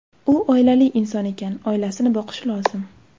U oilali inson ekan, oilasini boqishi lozim.